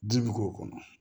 Ji bi k'o kɔnɔ